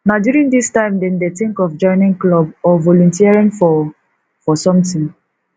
na during this time dem dey think of joining club or volunteering for for something